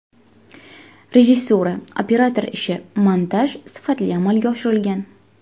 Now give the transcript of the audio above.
Rejissura, operator ishi, montaj sifatli amalga oshirilgan.